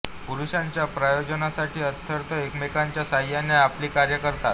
पुरुषाच्या प्रयोजनासाठी अर्थत एकमेकांच्या सहाय्याने आपली कार्ये करतात